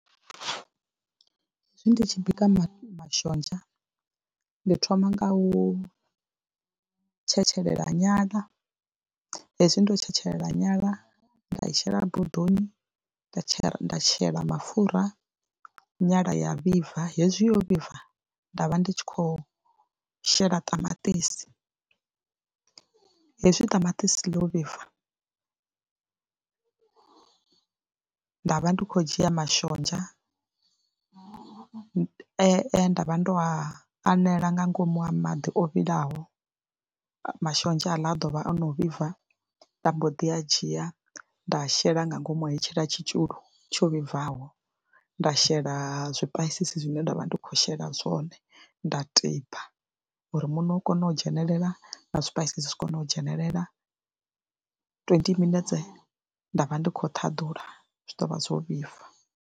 Hewi ndi tshi bika mafhi, mashonzha ndi thoma nga u tshetshelela nyala hezwi ndo tshetshelela nyala nda shela bodoni, nda tsha nda shela mapfhura nyala ya vhibva, hezwi yo vhibva nda vha ndi tshi khou shela ṱamaṱisi hezwi ṱamaṱisi ḽi vhibva nda vha ndi khou dzhia mashonzha e nda vha ndo a anela nga ngomu ha maḓi o vhilaho, mashonzha haḽa a ḓo vha o no vhibva, nda mbo ḓi a dzhia nda shela nga ngomu hetshiḽa tshitzhiulo tsho vhibvaho, nda shela zwipaisisi zwine nda vha ndi khou shela zwone, nda tiba uri muṋo u kone u dzhenelela na zwipaisisi zwi kone u dzhenelela, twenty minetse nda vha ndi khou ṱhaḓula zwi ḓo vha zwo vhibva.